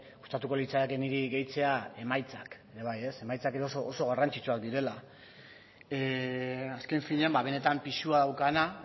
gustatuko litzaidake niri gehitzea emaitzak ere bai emaitzak oso garrantzitsuak direla azken finean benetan pisua daukana